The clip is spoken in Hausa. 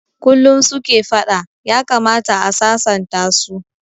Kullum suke fada, ya kamata a sasanta su